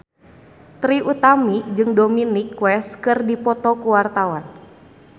Trie Utami jeung Dominic West keur dipoto ku wartawan